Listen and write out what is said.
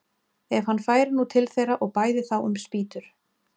Ef hann færi nú til þeirra og bæði þá um spýtur!